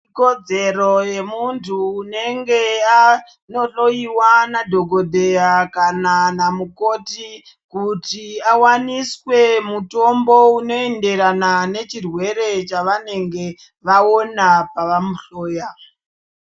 Ikodzero yemuntu unenge anohloyiwa nadhokodheya kana namukoti kuti awaniswe mutombo unoenderana nechirwere chavenge vaona pavanohloya.